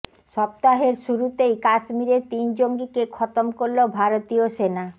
সপ্তাহের শুরুতেই কাশ্মীরে তিন জঙ্গিকে খতম করল ভারতীয় সেনা